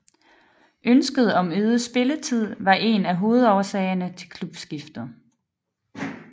Ønsket om øget spilletid var en af hovedårsagerne til klubskiftet